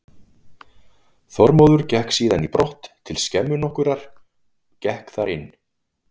Þormóður gekk síðan í brott til skemmu nokkurrar, gekk þar inn.